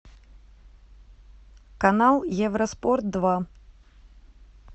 канал евроспорт два